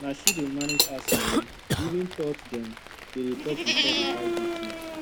na she dey manage house money even though dem dey talk before dem buy big things